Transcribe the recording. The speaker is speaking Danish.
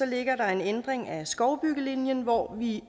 ligger der en ændring af skovbyggelinjen hvor vi